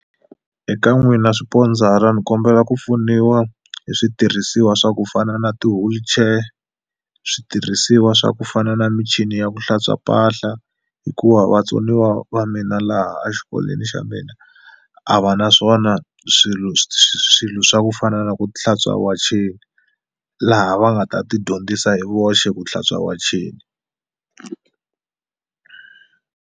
Eka n'wina swipondzara ni kombela ku pfuniwa hi switirhisiwa swa ku fana na ti-wheelchair switirhisiwa swa ku fana na michini ya ku hlantswa mpahla hikuva vatsoniwa va mina laha a xikolweni xa mina a va naswona swilo swilo swa ku fana na ku hlantswa wacheni laha va nga ta ti dyondzisa hi voxe ku hlantswa wachina.